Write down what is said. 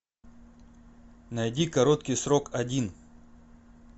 найди короткий срок один